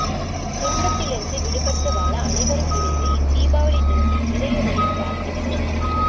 துன்பத்திலிருந்து விடுபட்டு வாழ அனைவரும் இணைந்து இத் தீபாவளித் தினத்தில் இறையருளை பிரார்த்திப்போம்